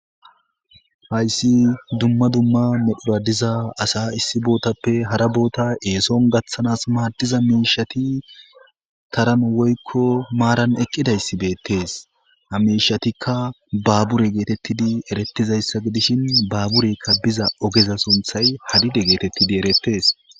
Hayssi dumma dumma medhuradiza asa issi bootappe hara boota eeson gaththanas maadiza miishati taran woykko maaran eqqidayssibeettes ha miishatikka baabure geetettidi erettizayssa gidishin baaburekka biza ogeza sunthay hadide geetettidi erettes.